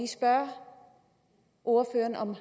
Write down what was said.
spørge ordføreren om